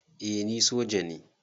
Eh ni soja ne